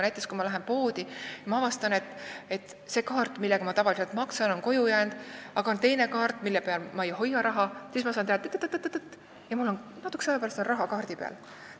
Näiteks, kui ma lähen poodi ja seal avastan, et see kaart, millega ma tavaliselt maksan, on koju jäänud, aga mul on teine kaart, mille peal ma raha ei hoia, siis ma saan teha nii, et paari näpuliigutusega on mul natukese aja pärast raha kaardi peal.